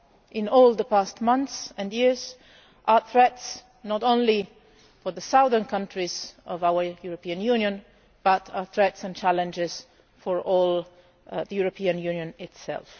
in all the past months and years, threats not only to the southern countries of our European Union but threats and challenges for the whole of the European Union itself.